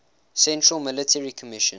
central military commission